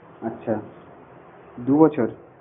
আচ্ছা দু বছর?